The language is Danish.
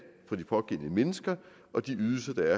fra de pågældende mennesker og de ydelser der